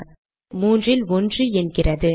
இங்கே அது 3 இல் 1 என்கிறது